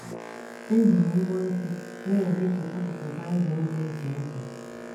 Eji m mbọ́ isi na - edetu akụkụ Bible dị iche iche